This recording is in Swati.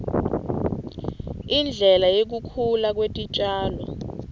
indlela yekukhula kwetitjalo